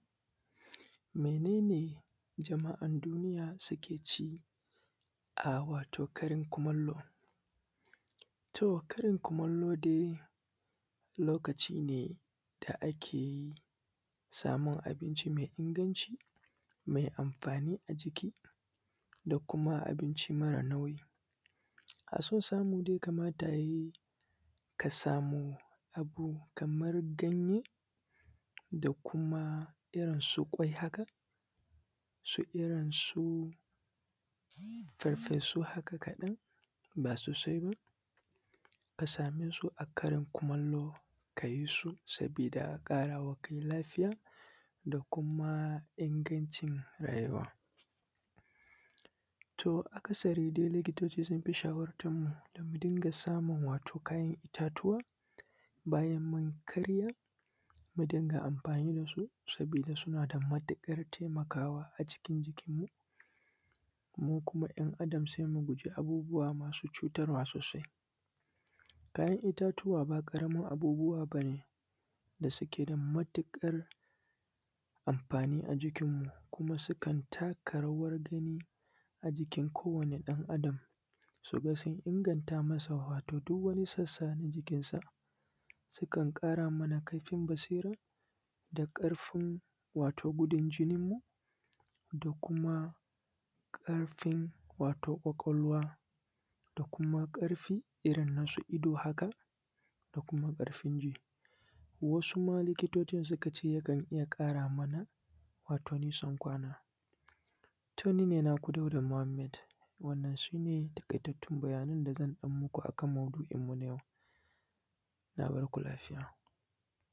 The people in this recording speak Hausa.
Mene ne jama’an duniya suke ci a wato karin kumallo. To, karin kumallo dai lokaci ne da ake samun abinci mai inganci mai amfani da kuma abinci mara nauyi, da so samu ne kamata ya yi ka samu abu kamar ganye da kuma irin su kwai, haka su farfesu haka kaɗan ba sosai ba, ka same su a karin kumallo ka ci su saboda ƙarawa kanka lafiya da kuma ingancin rayuwa. To, mafi akasari likitoci sun fi shawartanmu mu dinga samun wato kayan itatuwa bayan mun karya mu dinga amfani da su saboda suna da matuƙar taimakawa, sannan kuma ɗan’Adam zai guje wa abubuwa masu cutarwa sosai. Kayan itatuwa ba ƙaramar abubuwa ba ne da suke da matuƙar amfani a jikinmu kuma sukan taka rawangani a jikin kowani ɗan’Adam domin su inganta masa duk wani sassa na jikinsa, sukan ƙara mana ƙarfin basira da ƙarfin wato gudun jininmu da kuma lafiyan wato kwakwalwa da kuma ƙarfin irin nasu ido haka da kuma ƙarfin jini, wasu ma likitocin suka ce yakan iya ƙaramana nisan kwana. To, ni ne naku Dauda Muhammad wannan su ne taƙaitattun bayanai da zan muku akan maudu’in yau na barko lafiya.